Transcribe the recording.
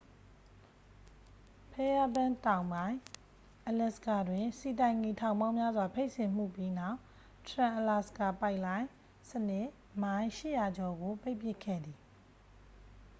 ဖဲရားဘန့် တောင်ပိုင်း အလက်စကာတွင် ဆီတိုင်ကီ ထောင်ပေါင်းများစွာ ဖိတ်စင်မှုပြီးနောက် ထရန်အလာစကာ ပိုက်လိုင်း စနစ် မိုင် 800 ကျော်ကို ပိတ်ပစ်ခဲ့သည်